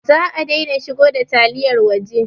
Za a daina shigo da taliyar waje